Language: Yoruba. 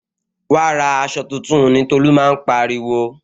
Wa ra aṣọ tuntun ni Tolu máa ń pariwo